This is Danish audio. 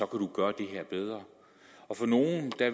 kan gøre det her bedre for nogle